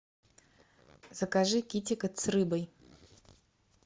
закажи китикет с рыбой